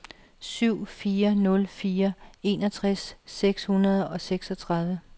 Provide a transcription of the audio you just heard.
syv fire nul fire enogtres seks hundrede og seksogtredive